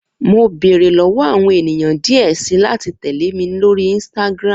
Mo beere lọwọ awọn eniyan diẹ sii lati tẹle mi lori Instagram